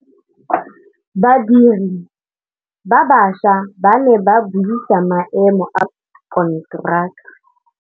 Badiri ba baša ba ne ba buisa maêmô a konteraka.